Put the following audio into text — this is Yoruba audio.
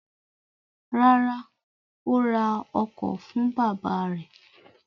Rárá, ó ra ọkọ̀ fún bàbá rẹ̀.